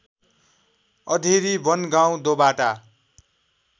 अधेरी बनगाउँ दोबाटा